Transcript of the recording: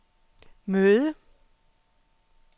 møde